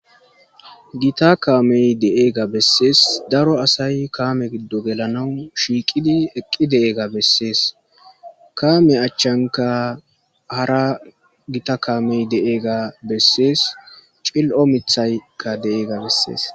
Gitta kamee de'iyaagaa bessiis; daro assayka kamee giddon gelanaw eqqidi de'iyaagaa bessiis. Kame achchankka hara gitta kamee de'eyssa bessiis; cill'o mitthaykka de'iyaagaa bessiis.